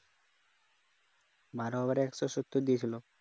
বারো over এ একশো সত্তর দিয়েছিল